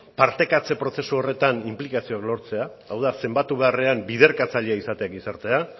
partekatze prozesu horretan inplikazioa lortzea hau da zenbatu beharrean biderkatzailea izatea gizartea